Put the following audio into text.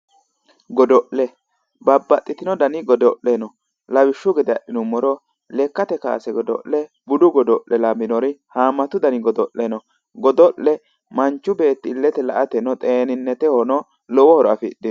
Godo'le babbaxxitino dani godo'le no lawishshu gede adhinummoro lekkate kaase godo'le budu godo'le lawinori haammmatu dani godo'le no godo'le manchu beetti illete laeteno xeeninnetehono lowo horo afidhino